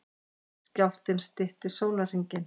Skjálftinn stytti sólarhringinn